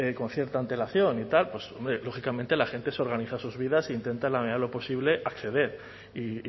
con cierta antelación y tal pues lógicamente la gente se organiza sus vidas e intenta en la medida de lo posible acceder y